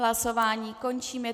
Hlasování končím.